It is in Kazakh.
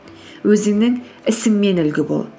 өзіңнің ісіңмен үлгі бол